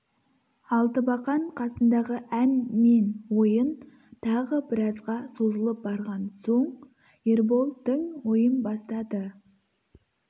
алтыбақан қасындағы ән мен ойын тағы біразға созылып барған соң ербол тың ойын бастады